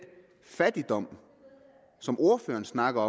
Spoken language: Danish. fattigdom som ordføreren snakker